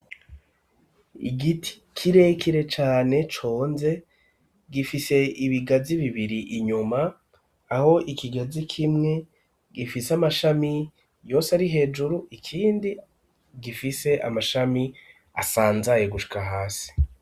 Igiti kirekire cane conze gifise ibigazi bibiri inyuma aho ikigazi kimwe gifise amashami yose ari hejuru ikindi gifise amashami asanzaye gushika hasi.